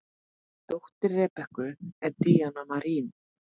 Dóttir Rebekku er Díana Marín.